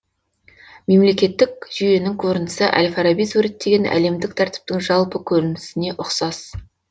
мемлекеттік жүйенің көрінісі әл фараби суреттеген әлемдік тәртіптің жалпы көрінісіне ұқсас